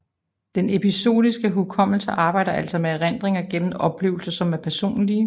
Den episodiske hukommelse arbejder altså med erindringer gennem oplevelser som er personlige